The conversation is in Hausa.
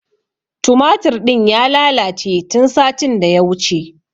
Tumatur ɗin ya lalace tun satin da ya wuce.